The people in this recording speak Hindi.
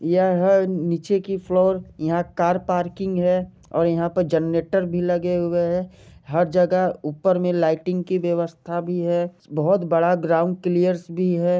यह है नीचे की फ्लोर यहाँ कार पार्किंग है और यहाँ पर जनरेटर भी लगे हुए है हर जगह ऊपर में लाइटिंग की व्यवस्था भी है बहुत बड़ा ग्राउंड क्लियर्स भी है।